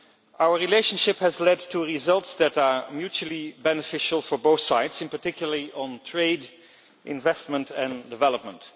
Our relationship has led to results that are mutually beneficial for both sides, particularly in trade, investment and development.